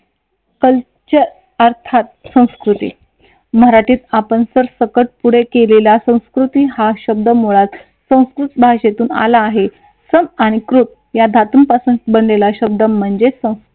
culture अर्थात संस्कृती मराठीत आपण सरसकट पुढे केलेल्या या संस्कृती हा शब्द मुळात संस्कृत भाषेतून आला आहे सन आणि कृत या धातूंपासून बनलेला शब्द म्हणजे सन्स